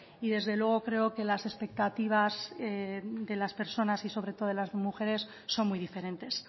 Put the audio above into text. y desde luego las expectativas de las personas y sobre todo de las mujeres son muy diferentes